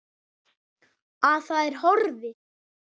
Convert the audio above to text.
Að það er horfið!